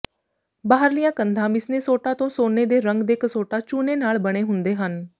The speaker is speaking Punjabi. ਬਾਹਰਲੀਆਂ ਕੰਧਾਂ ਮਿਸਨੇਸੋਟਾ ਤੋਂ ਸੋਨੇ ਦੇ ਰੰਗ ਦੇ ਕਸੋਟਾ ਚੂਨੇ ਨਾਲ ਬਣੇ ਹੁੰਦੇ ਹਨ